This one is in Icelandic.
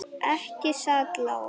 Ekki satt Lóa?